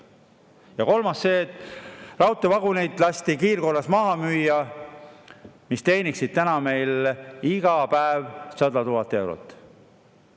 Ja kolmas on see, et lasti kiirkorras maha müüa raudteevagunid, mis teeniksid meil praegu iga päev 100 000 eurot.